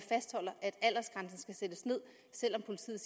aldersgrænsen skal sættes ned selv